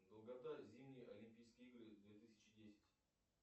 долгота зимние олимпийские игры две тысячи десять